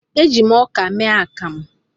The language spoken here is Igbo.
E ji m ọkà mee akamụ